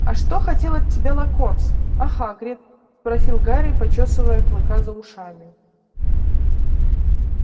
а что хотел от тебя локонс а хагрид спросил гарри почёсывая клыка за ушами